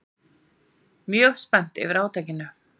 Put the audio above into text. Mjög spennt yfir átakinu